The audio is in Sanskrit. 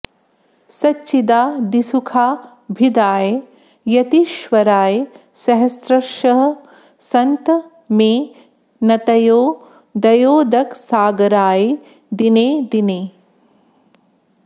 सच्चिदादिसुखाभिधाय यतीश्वराय सहस्रशः सन्त मे नतयो दयोदकसागराय दिने दिने